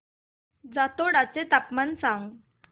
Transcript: जातोडा चे तापमान सांग